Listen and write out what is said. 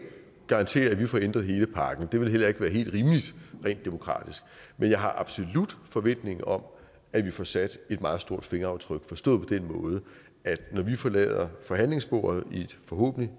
garantere at vi får ændret hele pakken det ville heller ikke være helt rimeligt rent demokratisk men jeg har absolut en forventning om at vi får sat et meget stort fingeraftryk forstået på den måde at når vi forlader forhandlingsbordet forhåbentlig